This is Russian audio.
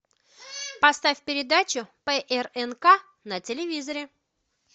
поставь передачу прнк на телевизоре